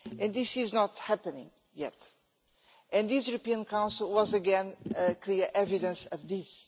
This is not happening yet and this European Council was, once again, clear evidence of this.